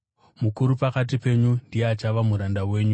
Mukuru pakati penyu ndiye achava muranda wenyu.